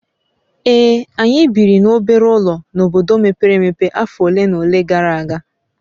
Ee, anyị biri n'obere ụlọ n'obodo mepere emepe afọ ole na ole gara aga